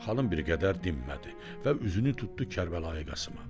Xanım bir qədər dinmədi və üzünü tutdu Kərbəlayı Qasım`a.